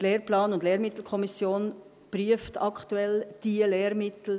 Die Lehrplan- und Lehrmittelkommission prüft aktuell diese Lehrmittel.